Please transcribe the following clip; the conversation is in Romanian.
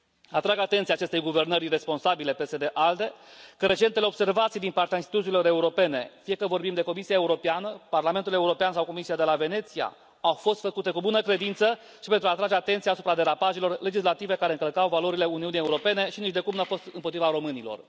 Atrag atenția acestei guvernări iresponsabile PSD ALDE că recentele observații din partea instituțiilor europene, fie că vorbim de Comisia Europeană, Parlamentul European sau Comisia de la Veneția, au fost făcute cu bună credință și pentru a atrage atenția asupra derapajelor legislative care încălcau valorile Uniunii Europene și nicidecum nu au fost împotriva românilor.